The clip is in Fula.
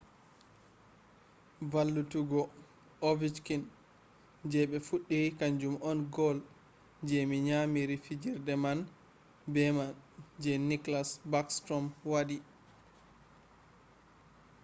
valllutuggo ovechkin je be fuddi kanjum on goal je me nyamiri fijirde man beman je nicklas backstrom wadi